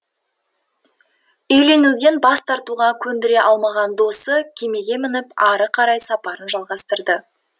үйленуден бас тартуға көндіре алмаған досы кемеге мініп ары қарай сапарын жалғастырады